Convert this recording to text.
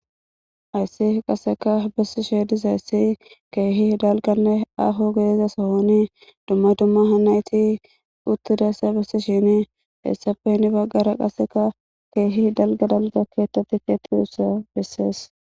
Hays qaseka besishe dizays keeh aahonne gidida sohon dumma dumma asat utidaysa besishn , istappe hen bagara qaseka keeh dalga dalga kethat kexetoysa beses.